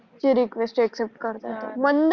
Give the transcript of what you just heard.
त request accept करते यार